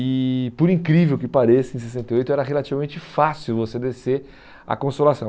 E, por incrível que pareça, em sessenta e oito era relativamente fácil você descer a Consolação.